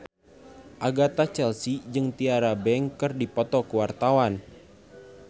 Agatha Chelsea jeung Tyra Banks keur dipoto ku wartawan